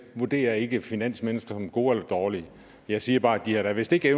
vurderer ikke finansmennesker som gode eller dårlige jeg siger bare at de da vist ikke